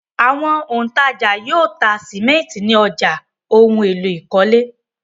Àwọn òǹtajà yóò ta sìmẹ́ńtì ní ọjà ohun-èlò ìkọ́lé.